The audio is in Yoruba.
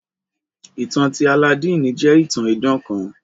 Ìtan ti Alladini jẹ itàn idàn kàn.